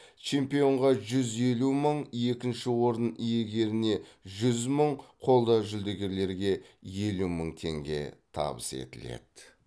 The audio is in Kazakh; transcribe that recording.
чемпионға жүз елу мың екінші орын иегеріне жүз мың қола жүлдегерге елу мың теңге табыс етіледі